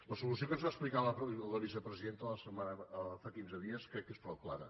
la solució que ens va explicar la vicepresidenta fa quinze dies crec que és prou clara